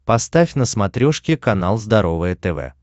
поставь на смотрешке канал здоровое тв